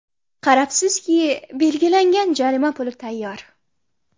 Qarabsizki, belgilangan jarima puli tayyor.